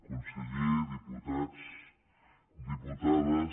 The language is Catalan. conseller diputats diputades